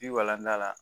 Bi walantan la